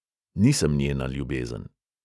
Nisem njena ljubezen.